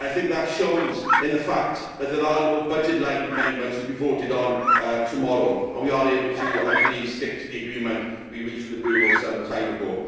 I think that shows in the fact that there are no budget line amendments to be voted on tomorrow and that we are able, I believe, to stick to the agreement we reached with the Bureau some time